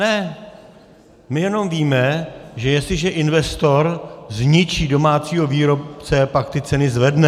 Ne, my jenom víme, že jestliže investor zničí domácího výrobce, pak ty ceny zvedne.